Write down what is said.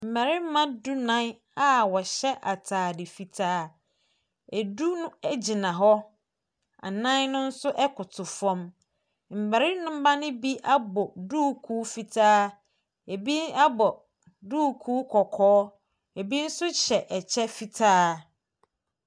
Mmarima dunnan a wɔhyɛ atade fitaa. Du no gyina hɔ, nnan no nso koto fam. Mmarima no bi abɔ duukuu fitaa. Ɛbi abɔ duukuu kɔkɔɔ. Ɛbi nsohyɛ ɛkyɛ fitaa.